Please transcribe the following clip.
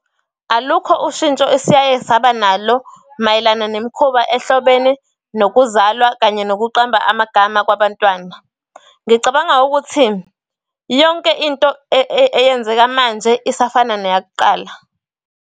Alukho ushintsho esiyaye saba nalo mayelana nemikhuba ehlobene nokuzalwa, kanye nokuqamba amagama kwabantwana. Ngicabanga ukuthi yonke into eyenzeka manje, isafana neyak'qala.